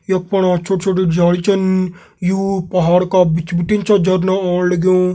यख पणा छोट-छोट झाडी छिन यू पहाड़ का बिच भिटिन छा झरना आणु लगयूं।